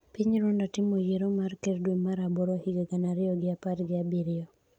Piny Rwanda timo yiero mar ker dwe mar aboro higa gana ariyo gi apar gi abiriyo